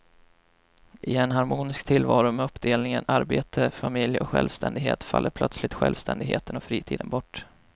I en harmonisk tillvaro med uppdelningen arbete, familj och självständighet faller plötsligt självständigheten och fritiden bort.